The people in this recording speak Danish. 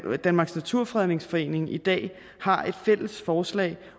danmarks naturfredningsforening i dag har et fælles forslag